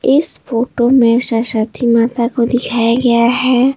इस फोटो में सरस्वती माता को दिखाया गया है।